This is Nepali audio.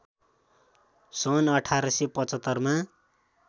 सन् १८७५ मा